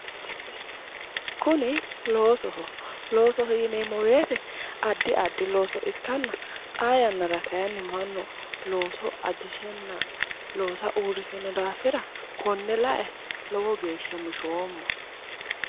Kuni loosoho, loosoho yinneemmo woyte addi addi looso ikkanna xaa yannara kayinni mannu looso ajishenna looso uurishe noo daafira kone lae lowo geeshsha mishoomma.